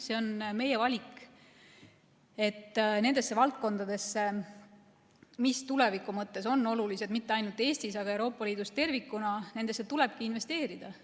See on meie valik, et nendesse valdkondadesse, mis tuleviku mõttes on olulised – mitte ainult Eestis, vaid Euroopa Liidus tervikuna –, tulebki investeerida.